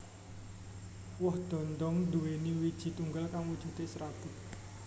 Woh dhondhong nduwèni wiiji tunggal kang wujudé serabut